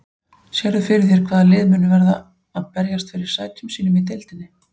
Sérðu fyrir þér hvaða lið munu verða að berjast fyrir sætum sínum í deildinni?